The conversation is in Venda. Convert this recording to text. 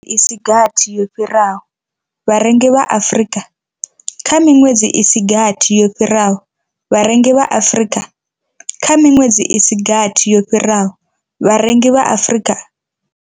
I si gathi yo fhiraho, vharengi vha Afrika. Kha miṅwedzi i si gathi yo fhiraho, vharengi vha Afrika. Kha miṅwedzi i si gathi yo fhiraho, vharengi vha Afrika.